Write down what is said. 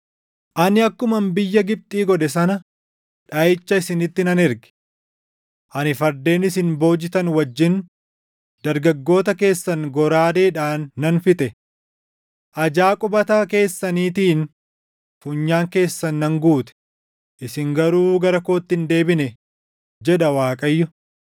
“Ani akkuman biyya Gibxi godhe sana dhaʼicha isinitti nan erge. Ani fardeen isin boojitan wajjin dargaggoota keessan goraadeedhaan nan fixe. Ajaa qubata keessaniitiin funyaan keessan nan guute; isin garuu gara kootti hin deebine” jedha Waaqayyo.